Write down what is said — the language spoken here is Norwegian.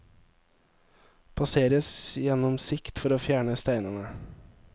Passeres gjennom sikt for å fjerne steinene.